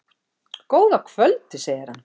Góða kvöldið, segir hann.